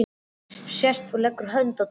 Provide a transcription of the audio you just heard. Sest og leggur hönd á tólið.